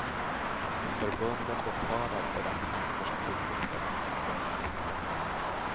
Förbunden betalar för de tjänster som utnyttjas. punkt